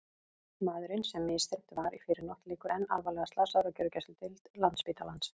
Maðurinn sem misþyrmt var í fyrrinótt liggur enn alvarlega slasaður á gjörgæsludeild Landspítalans.